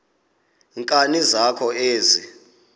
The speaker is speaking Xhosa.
nkani zakho ezi